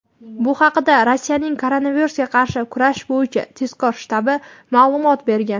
Bu haqda Rossiyaning koronavirusga qarshi kurash bo‘yicha tezkor shtabi ma’lumot bergan.